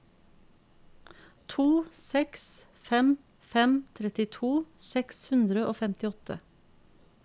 to seks fem fem trettito seks hundre og femtiåtte